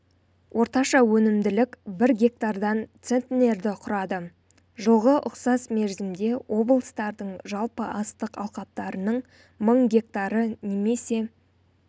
орташа өнімділік бір гектардан центнерді құрады жылғы ұқсас мерзімде облыстардың жалпы астық алқаптарының мың гектары немесе